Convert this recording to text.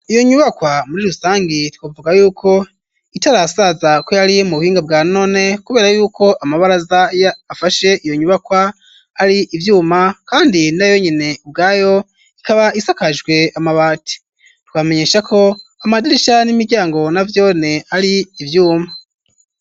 Iyo nyubakwa muri rusangi twavuga y'uko ,itarasaza ko yari mu buhinga bwa none ,kubera yuko amabaraza y'afashe iyo nyubakwa ari ivyuma, kandi na yonyine ibwayo ikaba isakajwe amabati, twamenyesha ko amadirisha n'imiryango na vyone ari ivyuma.